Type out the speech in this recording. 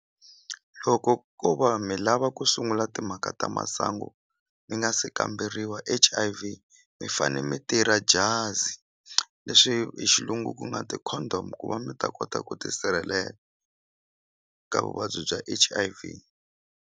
Loko ko va mi lava ku sungula timhaka ta masangu mi nga se kamberiwa H_I_V mi fane mi tirha jazi leswi hi xilungu ku nga ti-condom ku va mi ta kota ku tisirhelela ka vuvabyi bya H_I_V.